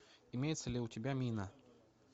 имеется ли у тебя мина